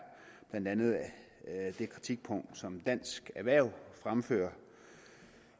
blandt andet det kritikpunkt som dansk erhverv fremfører